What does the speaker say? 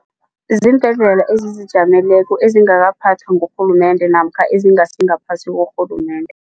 Ziimbhedlela ezizijameleko ezingakaphathwa ngurhulumende namkha ezingasi ngaphasi korhulumende.